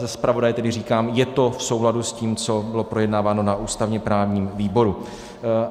Za zpravodaje tedy říkám, je to v souladu s tím, co bylo projednáváno na ústavně-právním výboru.